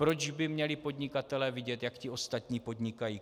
Proč by měli podnikatelé vidět, jak ti ostatní podnikají?